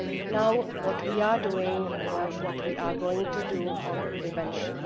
Now, what are we doing or what are we going to do on prevention?